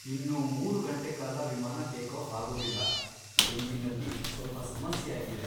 ಇನ್ನೂ ಮೂರು ಗಂಟೆ ಕಾಲ ವಿಮಾನ ಟೇಕಾಫ್ ಆಗೋದಿಲ್ಲ. ಎಂಜಿನಲ್ಲಿ ಸ್ವಲ್ಪ ಸಮಸ್ಯೆ ಆಗಿದೆ.